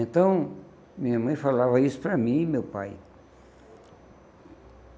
Então, minha mãe falava isso para mim e meu pai.